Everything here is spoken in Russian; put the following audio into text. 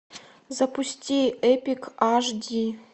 запусти эпик аш ди